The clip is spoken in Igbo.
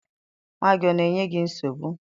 Nwa gị ọ na-enye gị nsogbu?